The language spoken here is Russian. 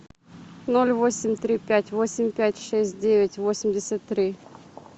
ноль восемь три пять восемь пять шесть девять восемьдесят три